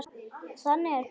Þannig er pabbi.